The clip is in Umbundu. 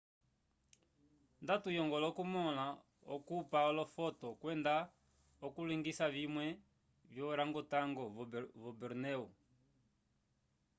nda tuyongola okumõla okupa olofoto kwenda okulilongisa vimwe vyo orangotango vo bornéu